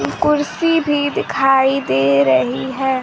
कुर्सी भी दिखाई दे रही है।